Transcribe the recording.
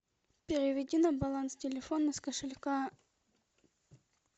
переведи на баланс телефона с кошелька